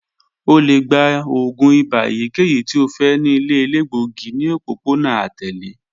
O le gba oògùn ibà eyikeyi ti o fẹ ni ile elegbogi ni opopona atẹle